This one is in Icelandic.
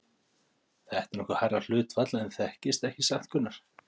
Þetta er nokkuð hærra hlutfall en þekkist ekki satt, Gunnar?